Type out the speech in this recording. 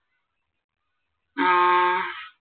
ആഹ്